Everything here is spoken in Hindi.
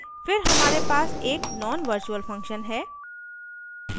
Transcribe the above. फिर हमारे पास एक nonvirtual function है